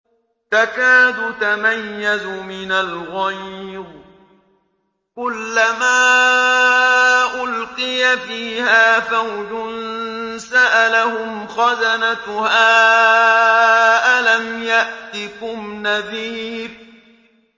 تَكَادُ تَمَيَّزُ مِنَ الْغَيْظِ ۖ كُلَّمَا أُلْقِيَ فِيهَا فَوْجٌ سَأَلَهُمْ خَزَنَتُهَا أَلَمْ يَأْتِكُمْ نَذِيرٌ